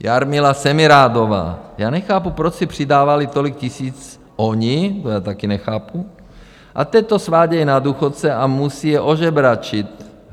Jarmila Semirádová: Já nechápu, proč si přidávali tolik tisíc oni, to já také nechápu, a teď to svádějí na důchodce a musí je ožebračit.